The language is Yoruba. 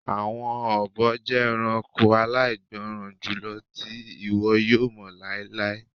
Awọn obo jẹ ẹranko alaigbọran julọ ti iwọ yoo mọ lailai